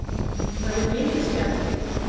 Það er mikið spjallað.